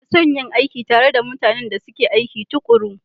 Ina son yin aiki tare da mutanen da suke aiki tuƙuru.